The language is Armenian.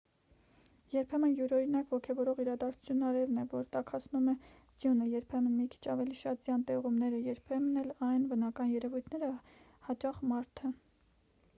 երբեմն յուրօրինակ ոգևորող իրադարձությունն արևն է որ տաքացնում է ձյունը երբեմն մի քիչ ավելի շատ ձյան տեղումները երբեմն էլ այլ բնական երևույթները հաճախ մարդը